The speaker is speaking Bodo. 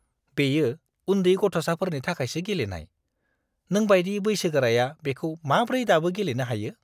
बेयो उन्दै गथ'साफोरनि थाखायसो गेलेनाय। नोंबायदि बैसोगोराया बेखौ माब्रै दाबो गेलेनो हायो?